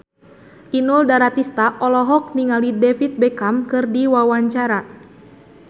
Inul Daratista olohok ningali David Beckham keur diwawancara